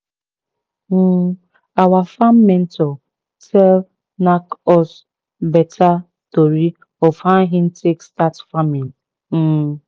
um our farm mentor tell knack us beta tori of how hin take start farming um